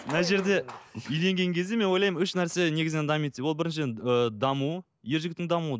мына жерде үйленген кезде мен ойлаймын үш нәрсе негізінен дамиды деп ол біріншіден ыыы даму ер жігіттің дамуы